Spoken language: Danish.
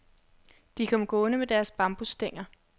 De kom gående med deres bambusstænger.